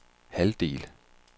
halvdel